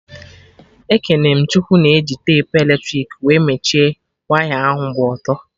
Ekene m Chukwu na-eji tepu eletrik wee mechie waya ahụ gba ọtọ